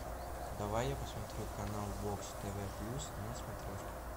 давай я посмотрю канал бокс тв плюс на смотрешке